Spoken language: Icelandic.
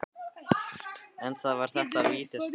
En var þetta vítaspyrna?